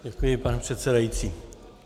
Děkuji, pane předsedající.